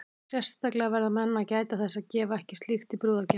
Sérstaklega verða menn að gæta þess að gefa ekki slíkt í brúðargjafir.